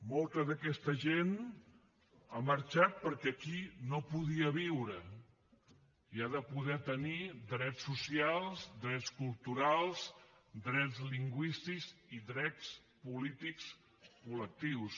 molta d’aquesta gent ha marxat perquè aquí no podia viure i ha de poder tenir drets socials drets culturals drets lingüístics i drets polítics col·lectius